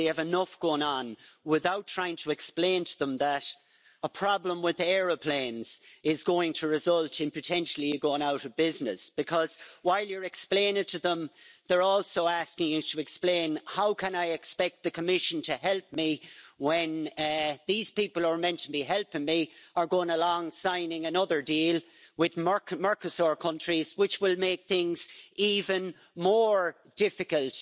They have enough going on without trying to explain to them that a problem with the aeroplanes is going to result in potentially them going out of business, because while you're explaining it to them, they're also asking you to explain how can I expect the Commission to help me when these people who are meant to be helping me are going along signing another deal with Mercosur countries, which will make things even more difficult